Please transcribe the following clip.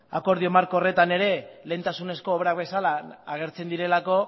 akordio marko horretan ere lehentasunezko obrak bezala agertzen direlako